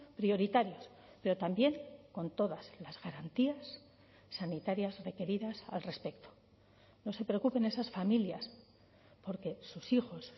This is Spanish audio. prioritarios pero también con todas las garantías sanitarias requeridas al respecto no se preocupen esas familias porque sus hijos